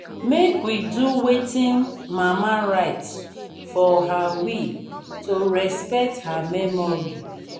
make we do wetin mama write for her will to respect her memory